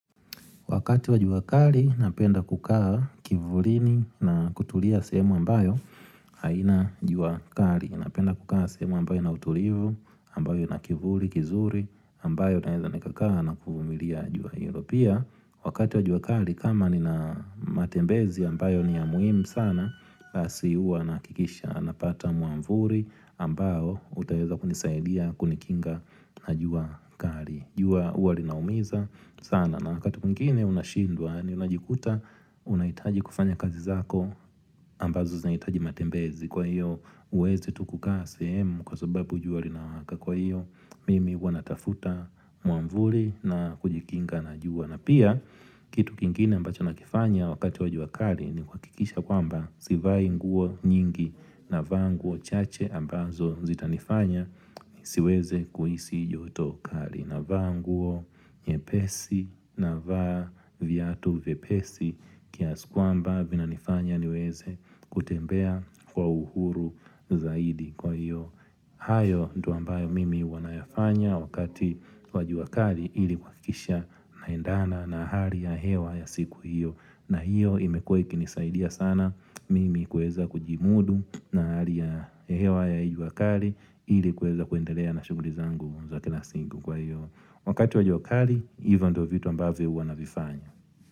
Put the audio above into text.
Wakati wa juakali, napenda kukaa kivulini na kutulia sehemu ambayo haina juakali. Napenda kukaa sehemu ambayo ina utulivu, ambayo ina kivuli, kizuri, ambayo naeza nikakaa na kumilia jua hilo, pia Wakati wa juakali, kama nina matembezi ambayo ni ya muhimu sana, basi huwa nahakikisha, napata mwavuli ambao utaweza kunisaidia, kunikinga na juakali. Jua huwa linaumiza sana, na wakati mwingine unashindwa na unajikuta unahitaji kufanya kazi zako ambazo zinahitaji matembezi, kwa iyo huwezi tu kukaa semu kwa sababu jua linawaka kwa iyo mimi huwa natafuta mwavuli na kujikinga na jua na pia kitu kingine ambacho nakifanya wakati wa juakali ni kuhakikisha kwamba sivai nguo nyingi, navalia nguo chache ambazo zitanifanya nisiweze kuhisi yoto kali. Na vaa nguo nyepesi, navaa viatu vyepesi kiasi kwamba vinanifanya niweze kutembea kwa uhuru zaidi kwa hiyo. Hayo ndo ambayo mimi huwa nayafanya wakati wa jua kali ili kuhakisha naendana na hali ya hewa ya siku hiyo. Na hiyo imekua kinisaidia sana mimi kuweza kujihimudu na hali ya hewa ya hii wakali ili kuweza kuendelea na shuguli zangu za kila siku kwa hiyo Wakati wa jua wakali hivyo ndo vitu ambavyo huwa navifanya.